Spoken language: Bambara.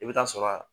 I bɛ taa sɔrɔ a